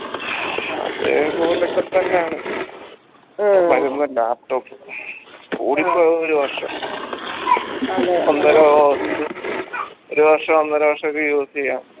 അതേപോലൊക്കെ തന്നാണ് laptop കൂടിപ്പോയ ഒരു വർഷം ഒന്നരാ ഒന്ന് ഒരു വർഷം ഒന്നര വർഷൊക്കെ use എയ്യാം